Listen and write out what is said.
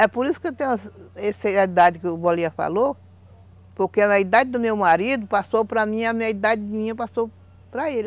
É por isso que eu tenho essa idade que o Bolinha falou, porque a idade do meu marido passou para mim e a minha idade passou para ele.